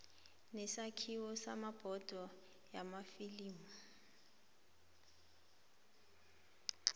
nesakhiwo sebhodo yamafilimu